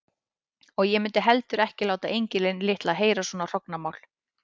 Og ég mundi heldur ekki láta engilinn litla heyra svona hrognamál.